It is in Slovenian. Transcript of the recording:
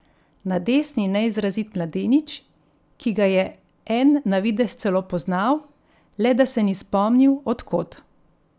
Na desni neizrazit mladenič, ki ga je En na videz celo poznal, le da se ni spomnil, od kod.